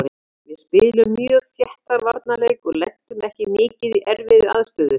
Við spiluðum mjög þéttan varnarleik og lentum ekki mikið í erfiðri aðstöðu.